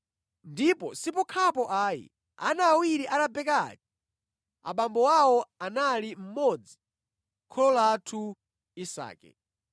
Ndipo si pokhapo ayi. Ana awiri a Rebeka aja abambo awo anali mmodzi, kholo lathu Isake.